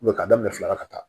ka daminɛ fila la ka taa